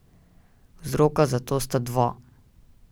Vzroka za to sta dva.